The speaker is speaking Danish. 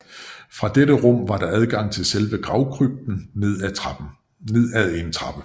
Fra dette rum var der adgang til selve gravkrypten ad en trappe